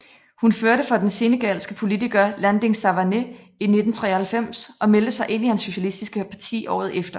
Hun førte for den senegaliske politiker Landing Savané i 1993 og meldte sig ind i hans socialistiske parti året efter